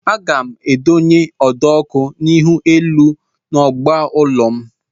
Aga m adonye ụdọọkụ ihuelu n'ọgba ụlọ m